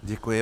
Děkuji.